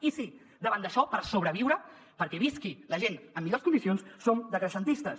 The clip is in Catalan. i sí davant d’això per sobreviure perquè visqui la gent en millors condicions som decreixentistes